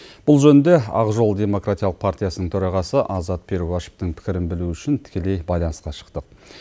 бұл жөнінде ақ жол демократиялық партиясының төрағасы азат перуашевтің пікірін білу үшін тікелей байланысқа шықтық